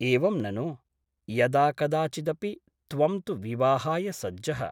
एवं ननु ? यदाकदाचिदपि त्वं तु विवाहाय सज्जः ।